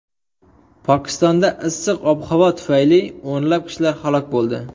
Pokistonda issiq ob-havo tufayli o‘nlab kishilar halok bo‘ldi.